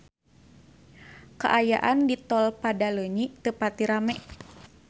Kaayaan di Tol Padaleunyi teu pati rame